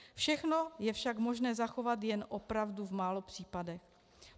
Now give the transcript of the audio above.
Všechno je však možné zachovat jen opravdu v málo případech.